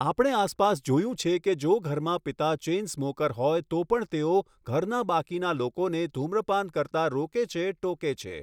આપણે આસપાસ જોયું છે કે જો ઘરમાં પિતા ચૅઇન સ્મૉકર હોય તો પણ તેઓ ઘરના બાકીના લોકોને ધૂમ્રપાન કરતા રોકે છે, ટોકે છે.